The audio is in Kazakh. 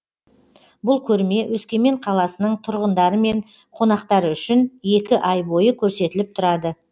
бұл көрме өскемен қаласының тұрғындары мен қонақтары үшін екі ай бойы көрсетіліп тұрады